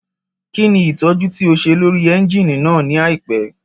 Kí ni ìtọ́jú tí o ṣe lórí ẹ́ńjíìnì náà ní àìpẹ́?